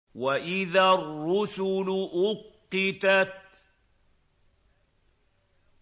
وَإِذَا الرُّسُلُ أُقِّتَتْ